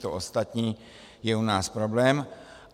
To ostatní je u nás problém.